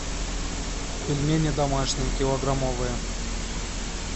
пельмени домашние килограммовые